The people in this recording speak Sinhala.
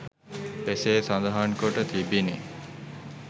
එසේ සඳහන් කොට තිබිණි